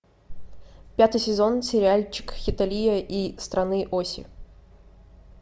пятый сезон сериальчик хеталия и страны оси